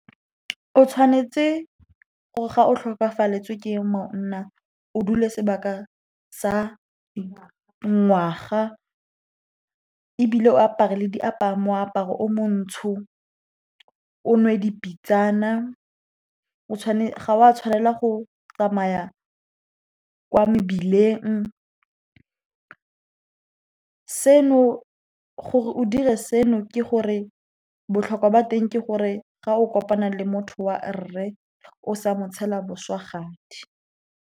O tshwanetse gore ga o tlhokafaletswe ke monna, o dule sebaka sa ngwaga, ebile o apare moaparo o montsho, o nwe dipitsana. Ga o a tshwanela go tsamaya kwa mebileng gore o dire seno, botlhokwa ba teng ke gore ga o kopana le motho wa rre, o sa mo tshela boswagadi.